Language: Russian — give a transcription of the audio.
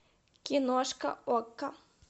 киношка окко